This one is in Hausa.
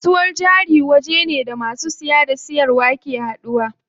Kasuwar jari wajene da masu siya da siyarwa ke haduwa.